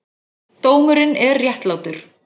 Dómurinn er réttlátur.